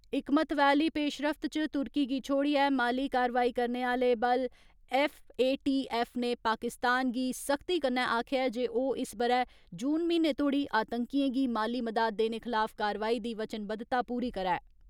इक महत्वै आली पेशरफ्त च तुर्की गी छोडियै माली कारवाई करने आले बल एफ.ए.टी.एफ नै पाकिस्तान गी सख्ती कन्नै आखेआ ऐ जे ओह् इस बरै जून म्हीने तोड़ी आतंकीयें गी माली मदाद देने खलाफ कारवाई दी वचनबद्धता पूरी करै।